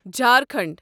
Jharkhand